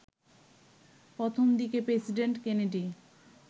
প্রথম দিকে president Kennedy